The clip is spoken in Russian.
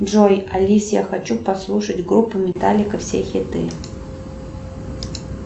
джой алис я хочу послушать группу металлика все хиты